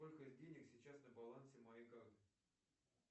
сколько денег сейчас на балансе моей карты